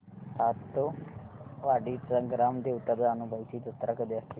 सातेवाडीची ग्राम देवता जानुबाईची जत्रा कधी असते